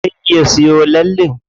Zai ya siyo lallen?